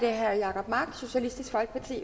er svaret